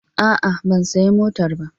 A'a, ban sayi motar ba.